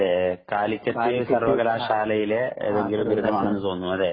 അതേ കാലിക്കറ്റ് സര്‍വ്വകലാശാലയിലെ ഏതെങ്കിലും ബിരുദമാണെന്ന് തോന്നുന്നു. അല്ലേ.